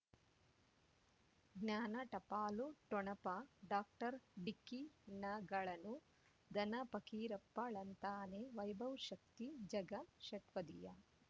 ಜ್ಞಾನ ಟಪಾಲು ಠೊಣಪ ಡಾಕ್ಟರ್ ಢಿಕ್ಕಿ ಣಗಳನು ಧನ ಫಕೀರಪ್ಪ ಳಂತಾನೆ ವೈಭವ್ ಶಕ್ತಿ ಝಗಾ ಷಟ್ಪದಿಯ